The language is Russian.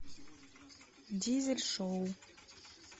дизель шоу